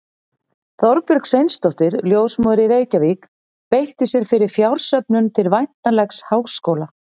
Þorbjörg Sveinsdóttir, ljósmóðir í Reykjavík, beitti sér fyrir fjársöfnun til væntanlegs háskóla.